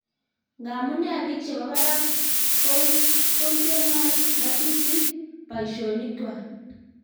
ngamunee biik chebo barak kontenoi ngatutik boishonikwak?